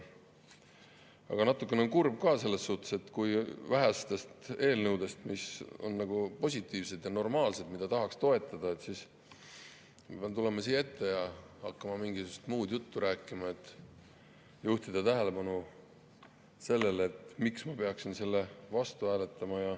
Aga natukene kurb on ka selle pärast, et kui menetluses on üks vähestest positiivsetest ja normaalsetest eelnõudest, mida tahaks toetada, pean ma tulema siia ette ja hakkama mingisugust muud juttu rääkima, et juhtida tähelepanu sellele, miks ma peaksin selle vastu hääletama.